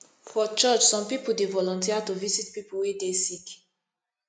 for church some pipu dey volunteer to visit pipu wey dey sick